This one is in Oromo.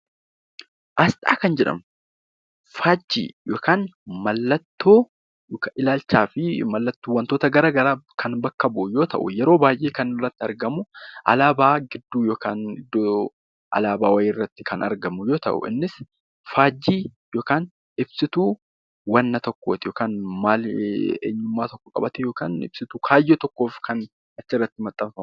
Aasxaa kan jedhamu faajjii yookaan mallattoo ilaakchaa fi wantoota gara garaa kan bakka bu'u yoo ta’u, yeroo baay'ee kan irratti argamu alaabaa gidduu yookaa alaabaa wayii irratti kan argamu yoo ta’u innis faajjii yookaan ibsituu wanna tokkooti yookaannwaan tokko qabatee ibsituu kaayyoo tokkoof achirratti kan argamu.